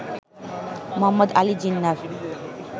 Mohammad Ali জিন্নাহর